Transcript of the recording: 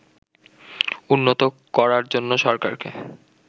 উন্নত করার জন্য সরকারকে